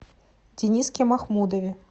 дениске махмудове